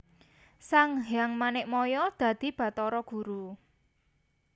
Sanghyang Manikmaya dadi Batara Guru